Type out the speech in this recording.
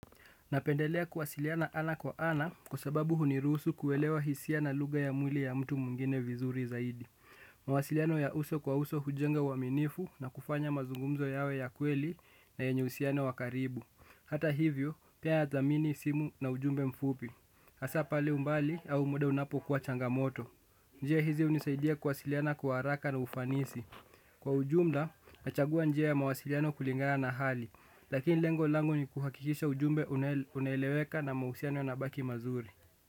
Napendelea kuwasiliana ana kwa ana kwa sababu huniruhusu kuelewa hisia na lugha ya mwili ya mtu mwingine vizuri zaidi. Mawasiliano ya uso kwa uso hujenga uaminifu na kufanya mazungumzo yawe ya kweli na yenye uhusiano wa karibu. Hata hivyo, pia ya zamini simu na ujumbe mfupi. Hasaa pale umbali au muda unapokuwa changamoto. Njia hizi hunisaidia kuwasiliana kwa haraka na ufanisi. Kwa ujumla, nachagua njia ya mawasiliano kulingana na hali. Lakini lengo langu ni kuhakikisha ujumbe unaeleweka na mahusiano yanabaki mazuri.